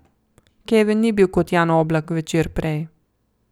Kevin ni bil kot Jan Oblak večer prej.